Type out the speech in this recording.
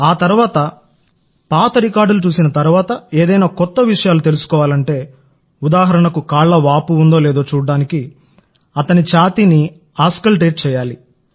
ఆ తర్వాత పాత రికార్డులు చూసిన తర్వాత ఏదైనా కొత్త విషయాలు తెలుసుకోవాలంటే ఉదాహరణకుకాళ్ల వాపు ఉందో లేదో చూడటానికి అతని ఛాతీని ఆస్కల్టేట్ చేయాలి